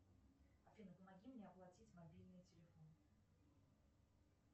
афина помоги мне оплатить мобильный телефон